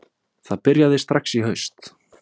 Það byrjaði strax í haust